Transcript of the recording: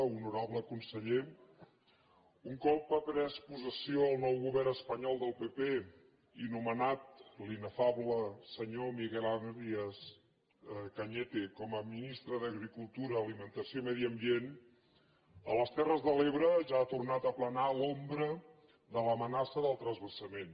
honorable conseller un cop ha pres possessió el nou govern espanyol del pp i nomenat l’inefable senyor miguel arias cañete com a ministre d’agricultura alimentació i medi ambient a les terres de l’ebre ja ha tornat a planar l’ombra de l’amenaça del transvasament